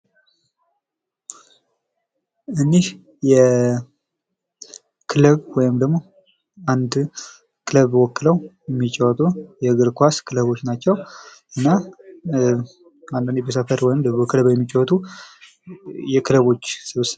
እኚህ የክለብ ወይም ደሞ አንድን ክለብ ወክለው የሚጫወቱ የእግር ኩዋስ ክለቦች ናቸው ፤ እና አንድ ላይ ሰብሰብ ብለው ወይም በክለብ የሚጫወቱ የክለቦች ስብስብ ነው።